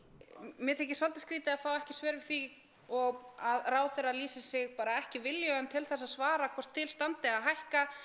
mér þykir svolítið skrýtið að fá ekki svör við því og að ráðherra lýsi sig bara ekki viljugan til þess að svara hvort til standi að hækka